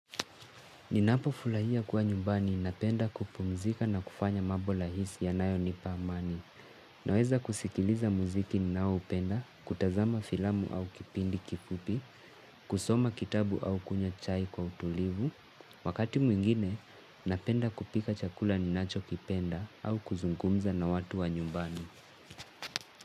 Ninapo furahia kuwa nyumbani napenda kupumzika na kufanya mambo rahisi yanayonipa amani. Naweza kusikiliza muziki ninaoupenda, kutazama filamu au kipindi kifupi, kusoma kitabu au kunywa chai kwa utulivu. Wakati mwingine, napenda kupika chakula ninacho kipenda au kuzungumza na watu wa nyumbani.